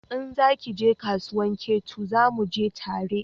In za ki je kasuwan Ketu zamu je tare